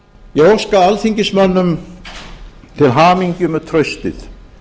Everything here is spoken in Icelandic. ég óska alþingismönnum til hamingju með traustið